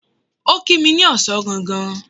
Ó kí mi ní ọ̀sán gangan.